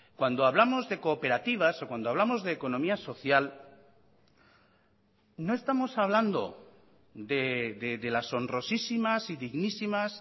cuando hablamos de cooperativas o cuando hablamos de economía social no estamos hablando de las sonrosísimas y dignísimas